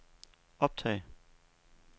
optag